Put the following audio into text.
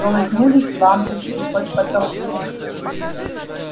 колыхнулись лампочки под потолком